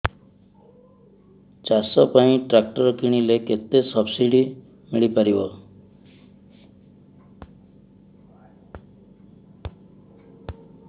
ଚାଷ ପାଇଁ ଟ୍ରାକ୍ଟର କିଣିଲେ କେତେ ସବ୍ସିଡି ମିଳିପାରିବ